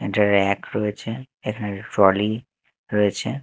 একটা ব়্যাক রয়েছে এখানে একটা ট্রলি রয়েছে।